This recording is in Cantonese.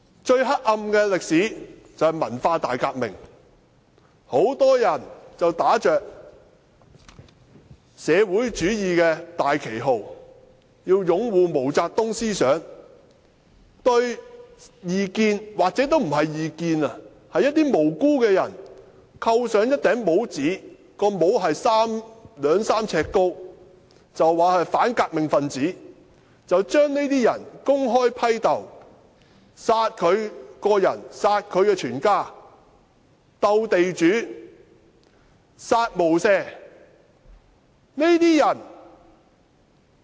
最黑暗的歷史，就是文化大革命，很多人打着"社會主義"的大旗號，要擁護毛澤東思想，對異見——或許不是異見——對一些無辜的人扣上帽子，是兩三呎高的帽子，指他們是反革命分子，將這些人公開批鬥，殺他本人及殺他全家，"鬥地主，殺無赦"。